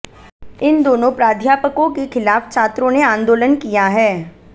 इन दोनों प्राध्यापकों के खिलाफ छात्रों ने आंदोलन किया है